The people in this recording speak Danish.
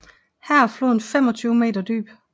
Her er floden 25 meter dyb